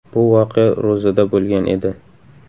Bu voqea ro‘zada bo‘lgan edi.